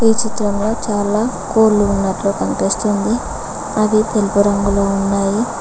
ఈ చిత్రంలో చాలా కోళ్ళు ఉన్నట్లు కనిపిస్తుంది అవి తెలుపు రంగులో ఉన్నాయి.